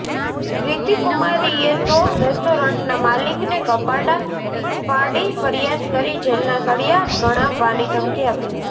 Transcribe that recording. રિધ્ધીકુમારીએ તો રેસ્ટોરન્ટના માલિકને કપાડા ફાડી ફરીયાદ કરી જેલના સળીયા ગણાવવાની ધમકી આપી હતી